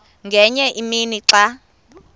ngenye imini xa